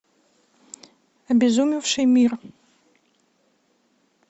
обезумевший мир